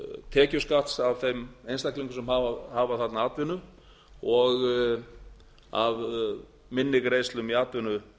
tekjuskatts af þeim einstaklingum sem hafa þarna atvinnu og af minni greiðslum í